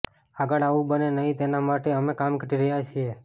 આગળ આવું બને નહીં તેના માટે અમે કામ કરી રહ્યા છીએ